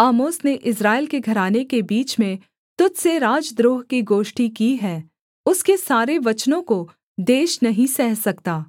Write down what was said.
आमोस ने इस्राएल के घराने के बीच में तुझ से राजद्रोह की गोष्ठी की है उसके सारे वचनों को देश नहीं सह सकता